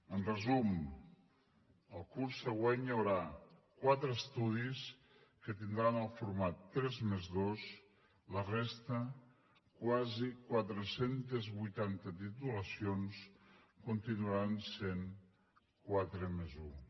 en resum el curs següent hi haurà quatre estudis que tindran el format tres+dos la resta quasi quatre cents i vuitanta titulacions continuaran sent quatre+un